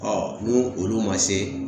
ni olu ma se